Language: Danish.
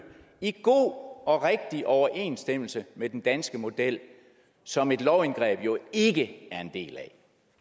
i god og rigtig overensstemmelse med den danske model som et lovindgreb jo ikke er en del af